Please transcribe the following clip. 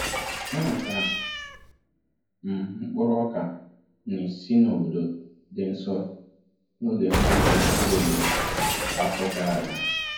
Enwetara m mkpụrụ ọka nni si n’obodo dị nso n’oge mgbanwe mkpụrụ obodo nke afọ gara aga.